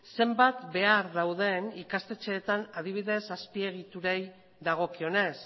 zenbat behar dauden ikastetxeetan adibidez azpiegiturei dagokionez